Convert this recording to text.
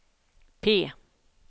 P